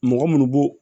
Mɔgɔ munnu b'o